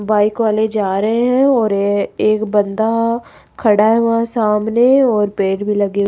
bike वाले जा रहे हैं और एक बंद खड़ा हुआ सामने और पेड़ भी लगे --